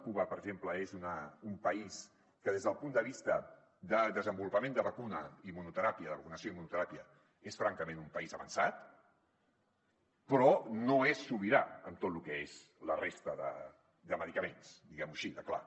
cuba per exemple és un país que des del punt de vista de desenvolupament de vacunació i immunoteràpia és francament un país avançat però no és sobirà en tot lo que és la resta de medicaments diguem ho així de clar